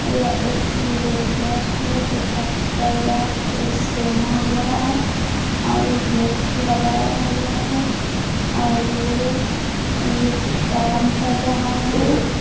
यह एक लेबर है जो काम कर रहा है ड्रेस पहना हुआ है और हुक लगाया हुआ है और काम कर रहा है।